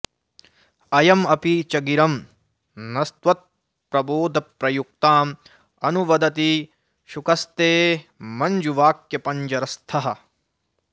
अयं अपि च गिरं नस्त्वत्प्रबोधप्रयुक्तां अनुवदति शुकस्ते मञ्जुवाक्पञ्जरस्थः